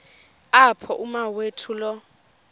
apho umawethu lo